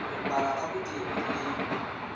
ho balwa ka botebo le